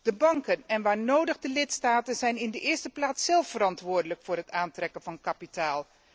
De banken en, waar nodig, de lidstaten zijn in de eerste plaats zelf verantwoordelijk voor het aantrekken van kapitaal.